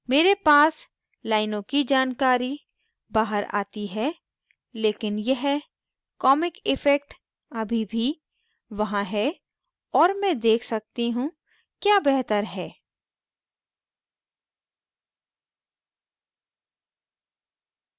मेरे पास लाइनों की जानकारी बाहर आती है लेकिन यह comic इफ़ेक्ट अभी भी वहाँ है और मैं देख सकती हूँ क्या बेहतर है